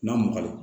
N'a magalen